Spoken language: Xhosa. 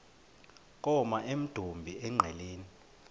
koma emdumbi engqeleni